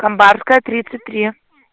камбарская тридцать три